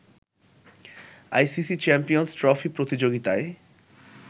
ICC champions trophy প্রতিযোগিতায়